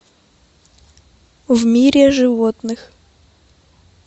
в мире животных